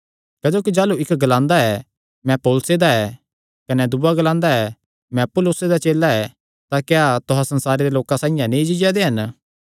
क्जोकि जाह़लू इक्क ग्लांदा ऐ मैं पौलुसे दा ऐ कने दूआ ग्लांदा ऐ मैं अपुल्लोसे दा चेला ऐ तां क्या तुहां संसारे दे लोकां साइआं नीं जीआ दे हन